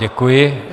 Děkuji.